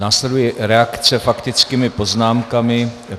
Následuje reakce faktickými poznámkami.